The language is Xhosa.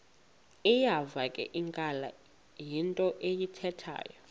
iyavakala into ayithethayo